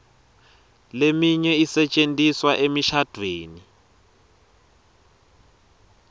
leminye isetjentiswa emishadvweni